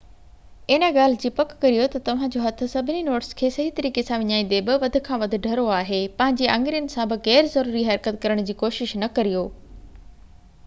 ان ڳالهہ جي پڪ ڪريو تہ توهان جو هٿ سڀني نوٽس کي صحيح طريقي سان وڃائيندي بہ وڌ کان وڌ ڍرو آهي پنهنجي آڱرين سان بہ غير ضروري حرڪت ڪرڻ جي ڪوشش نہ ڪريو